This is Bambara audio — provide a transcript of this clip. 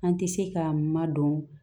An tɛ se ka madɔn